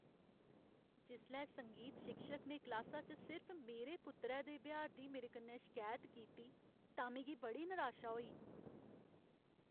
जिसलै संगीत शिक्षक ने क्लासा च सिर्फ मेरे पुत्तरै दे ब्यहार दी मेरे कन्नै शिकायत कीती तां मिगी बड़ी निराशा होई।